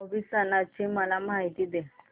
भाऊ बीज सणाची मला पूर्ण माहिती दे